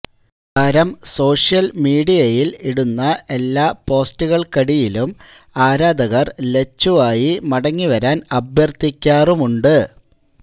താരം സോഷ്യല് മീഡിയയില് ഇടുന്ന എല്ലാ പോസ്റ്റുകള്ക്കടിയിലും ആരാധകര് ലച്ചുവായി മടങ്ങിവരാന് അഭ്യര്ത്ഥിക്കാറുമുണ്ട്